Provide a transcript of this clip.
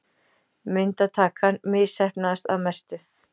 Myndatakan misheppnaðist að mestu.